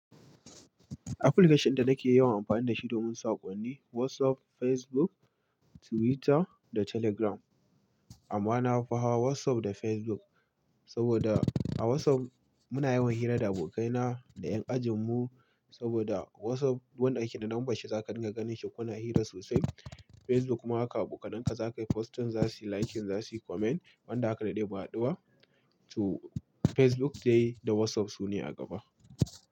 Application dinnada nake yawan amfani da shi domin saƙonni WhatsApp, Facebook, Twitter da Telegram. Amma na fi hawa WhatsApp da Facebook saboda a WhatsApp muna yawan hira da abokaina da ƴan ajinmu saboda WhatsApp wanda yake da lambar shi zaka dinga ganin shi kuna hira sosai. Facebook kuma haka abokananka za ka yi posting za su yi liking, za su yi comment wanda aka daɗe ba a haɗuwa. To Facebook dai da WhatsApp su ne a gaba.